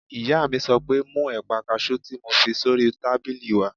Ìyá mi sọ pé "mú ẹ̀pà kaasú tí mo fi sórí tábìlì wá!"